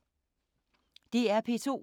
DR P2